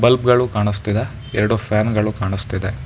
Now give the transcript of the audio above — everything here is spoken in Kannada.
ಬಲ್ಬ್ ಗಳು ಕಾಣಿಸ್ತಿದೆ ಎರಡು ಫ್ಯಾನ್ ಗಳು ಕಾಣಿಸ್ತಿದೆ.